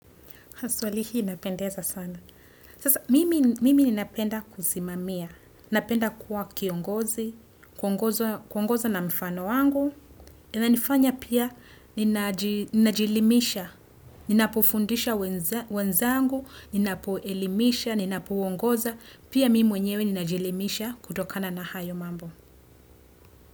Swali hii inapendeza sana. Mimi ninapenda kusimamia. Napenda kuwa kiongozi. Kuongoza na mfano wangu. Inanifanya pia ninajielimisha. Ninapofundisha wenzangu. Ninapo elimisha. Ninapo ongoza. Pia mimi mwenyewe ninajielimisha kutokana na hayo mambo.